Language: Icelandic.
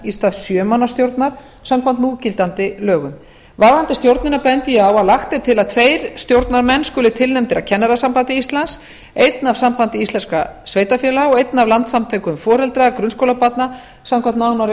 stað sjö manna stjórnar samkvæmt núgildandi lögum varðandi stjórnina bendi ég á að lagt er til að tveir stjórnarmenn skuli tilnefndir af kennarasambandi íslands einn af sambandi íslenskra sveitarfélaga og einn af landssamtökum foreldra grunnskólabarna samkvæmt nánari